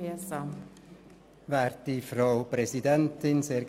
Wir haben den Auftrag, die